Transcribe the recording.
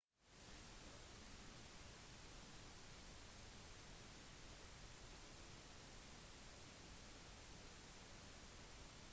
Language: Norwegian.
lyspæren må skiftes ut det er viktig å være forsiktig ved bytte av lyspæren